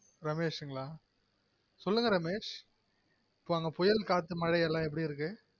ரமேஷுங்களா சொல்லுங்க ரமேஷ் அங்க புயல் காத்து மழை எல்லாம் எப்டி இருக்கு